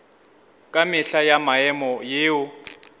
ka mehla ya maemo yeo